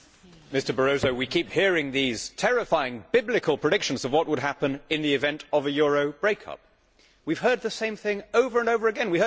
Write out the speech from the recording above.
Mr President, Mr Barroso, we keep hearing these terrifying, biblical predictions of what would happen in the event of a euro break up. We have heard the same thing over and over again.